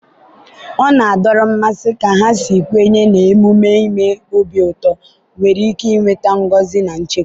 ọ na-adọrọ mmasị ka ha si kwenye na emume ime obi ụtọ nwere ike weta ngọzi na nchekwa.